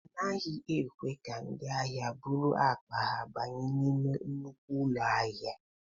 A naghị ekwe ka ndị ahịa buru akpa ha banye n'ime nnukwu ụlọ ahịa.